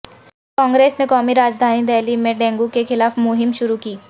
کانگریس نے قومی راجدھانی دہلی میں ڈینگو کے خلاف مہم شروع کی